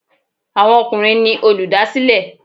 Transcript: Àwọn ọkùnrin ni olùdásílẹ̀.